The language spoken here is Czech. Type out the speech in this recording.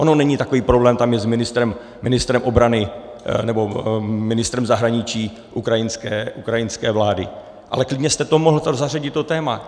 Ono není takový problém tam jet s ministrem obrany nebo ministrem zahraničí ukrajinské vlády, ale klidně jste tam mohl zařadit to téma.